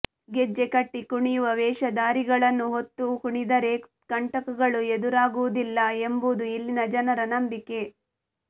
ಗೆಜ್ಜೆ ಕಟ್ಟಿ ಕುಣಿಯುವ ವೇಷಧಾರಿಗಳನ್ನು ಹೊತ್ತು ಕುಣಿದರೆ ಕಂಟಕಗಳು ಎದುರಾಗುವುದಿಲ್ಲ ಎಂಬುದು ಇಲ್ಲಿನ ಜನರ ನಂಬಿಕೆ